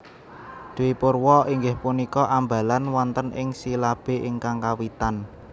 Dwipurwa inggih punika ambalan wonten ing silabé ingkang kawitan